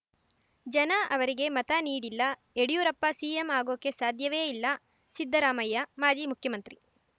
ಜನ ಅವರಿಗೆ ಮತ ನೀಡಿಲ್ಲ ಯಡಿಯೂರಪ್ಪ ಸಿಎಂ ಆಗೋಕೆ ಸಾಧ್ಯವೇ ಇಲ್ಲ ಸಿದ್ದರಾಮಯ್ಯ ಮಾಜಿ ಮುಖ್ಯಮಂತ್ರಿ